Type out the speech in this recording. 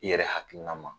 I yɛrɛ hakilina ma